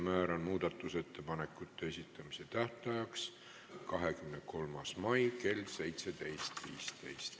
Määran muudatusettepanekute esitamise tähtajaks 23. mai kell 17.15.